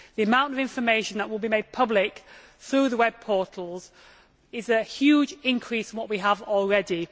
The amount of information that will be made public through the web portals is a huge increase on what we have already.